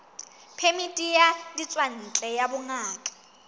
phemiti ya ditswantle ya bongaka